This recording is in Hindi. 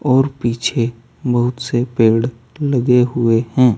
और पीछे बहुत से पेड़ लगे हुए हैं।